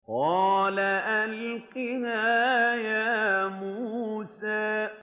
قَالَ أَلْقِهَا يَا مُوسَىٰ